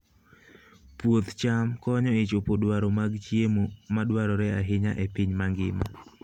Puoth cham konyo e chopo dwaro mag chiemo madwarore ahinya e piny mangima.